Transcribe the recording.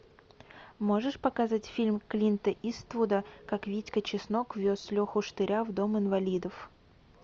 можешь показать фильм клинта иствуда как витька чеснок вез леху штыря в дом инвалидов